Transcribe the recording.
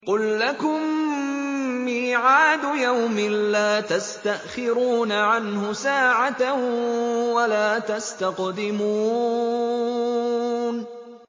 قُل لَّكُم مِّيعَادُ يَوْمٍ لَّا تَسْتَأْخِرُونَ عَنْهُ سَاعَةً وَلَا تَسْتَقْدِمُونَ